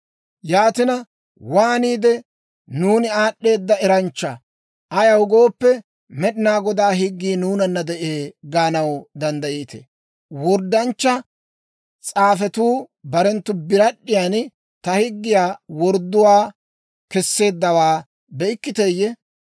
«Yaatina, waaniide, ‹Nuuni aad'd'eeda eranchcha; ayaw gooppe, Med'inaa Godaa higgii nuunanna de'ee› gaanaw danddayettii? Worddanchcha s'aafetuu barenttu biiriyan ta higgiyaa wordduwaa kesseeddawaa be'ikkiteeyye?